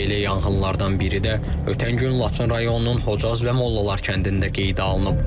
Belə yanğınlardan biri də ötən gün Laçın rayonunun Hocaz və Mollalar kəndində qeydə alınıb.